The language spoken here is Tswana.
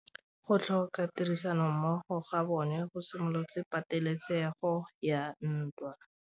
Go tlhoka tirsanommogo ga bone go simolotse patêlêsêgô ya ntwa.